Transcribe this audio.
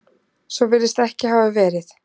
Svo virðist ekki hafa verið